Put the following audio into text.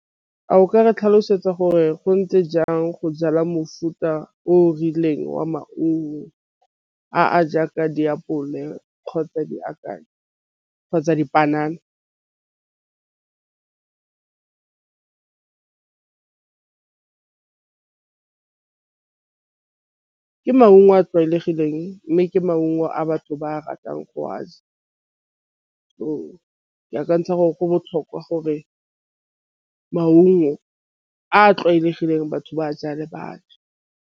A o ka re tlhalosetsa gore go ntse jang go jala mofuta o rileng wa maungo a a jaaka diapole kgotsa kgotsa dipanana. Ke maungo a tlwaelegileng mme ke maungo a batho ba ratang go a ja ke akantšha gore go botlhokwa gore maungo a tlwaelegileng batho ba jale batho.